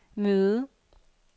møde